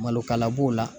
Malokala b'o la